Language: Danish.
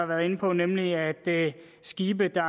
været inde på nemlig at skibe der